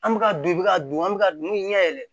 An bɛ ka dun i bɛ ka dun an bɛ ka dun ɲɛ yɛlɛ